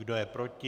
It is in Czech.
Kdo je proti?